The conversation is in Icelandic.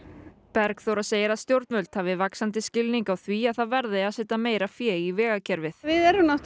Bergþóra segir að stjórnvöld hafi vaxandi skilning á því að það verði að setja meira fé í vegakerfið við erum